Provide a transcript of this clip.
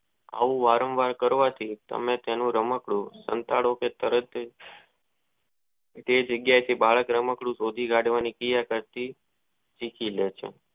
આવું વારંવાર કરવાથી તેને રમતો નો સાંતડો કરીયો જે જગ્યા થી બાળક રાંકડું શોધી કાઢવાની ક્રિયા કરતી શીખી લે છે.